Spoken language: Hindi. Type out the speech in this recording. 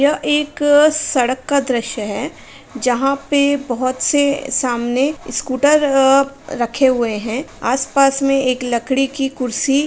यह एक सड़क का दृश्य है जहाँ पे बोहोत से सामने स्कूटर अ रखे हुए हैं। आसपास में एक लकड़ी की कुर्सी --